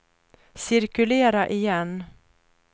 cirkulera igen